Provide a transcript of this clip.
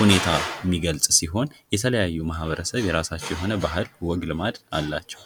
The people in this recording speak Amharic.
ሁኔታ የሚገልፅ ሲሆን የተለያዩ ማህበረሰብ የራሳቸው የሆነ ወግ ባህል ልማድ አላቸው።